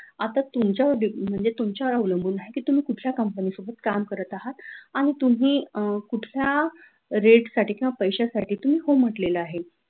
आता तुमच्यावर depend आहे की तुम्ही आता तुमच्या तुमच्यावर अवलंबून आहे की तुम्ही कुठल्या company त company सोबत काम करत आहात आणि तुम्ही अह कुठल्या rate साठी किंवा पैश्यासाठी हो म्हटलेल आहे.